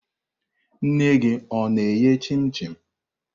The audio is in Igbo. Nne gị ọ na-eghe chim-chim?